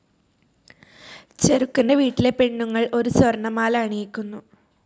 ചെറുക്കന്റെ വീട്ടിലെ പെണ്ണുങ്ങൾ ഒരു സ്വർണമാല അണിയിക്കുന്നു.